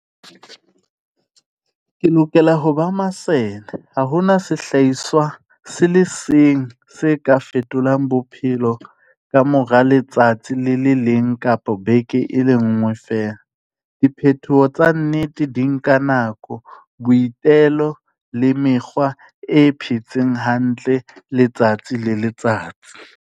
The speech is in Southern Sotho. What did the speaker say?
Ke lokela ho ba masene ha ho na sehlahiswa se le seng se ka fetolang bophelo ka mora letsatsi le le leng kapa beke e le nngwe fela, diphetoho tsa nnete, di nka nako, boitelo le mekgwa e phetseng hantle letsatsi le letsatsi.